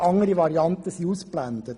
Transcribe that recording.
andere Varianten sind ausgeblendet.